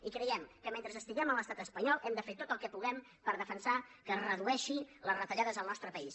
i creiem que mentre estiguem a l’estat espanyol hem de fer tot el que puguem per defensar que es redueixin les retallades en el nostre país